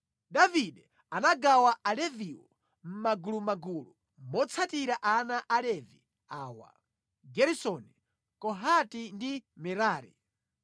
Davide anagawa Aleviwo mʼmagulumagulu motsatira ana a Levi awa: Geresoni, Kohati ndi Merari.